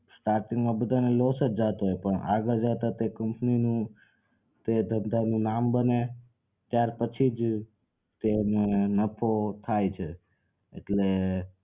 starting માં બધાને loss જ જાતો હોય પણ આગળ જતા તો એ company નું તે ધંધાનું નામ બને ત્યાર પછી જ તેઓ ને નફો થાય છે એટલે